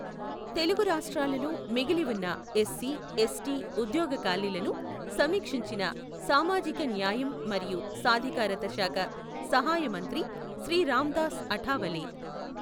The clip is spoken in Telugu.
తెలుగు రాష్ట్రాలలో మిగిలి ఉన్న ఎస్సి, ఎస్టి ఉద్యోగ ఖాళీలను సమీక్షించిన సామాజిక న్యాయం మరియు సాధికారిత శాఖ సహాయ మంత్రి శ్రీ రామ్దాస్ అఠావలే.